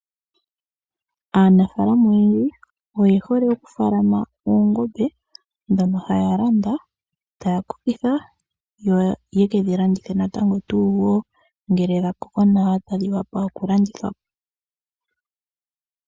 Aanafaalama oyendji oye hole oku falama oongombe dhono haya landa taya kokitha, yo yekedhi landithe natango tuu wo ngele dha koko nawa tadhi wapa oku landithwapo.